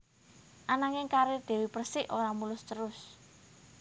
Ananging karir Dewi Persik ora mulus terus